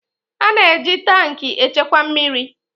A na-eji tankị echekwa mmiri